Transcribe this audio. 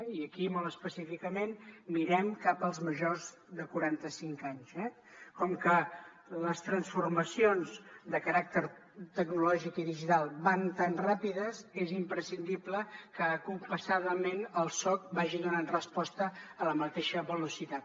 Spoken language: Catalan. i aquí molt específicament mirem cap als majors de quaranta cinc anys eh com que les transformacions de caràcter tecnològic i digital van tan ràpides és imprescindible que compassadament el soc vagi donant resposta a la mateixa velocitat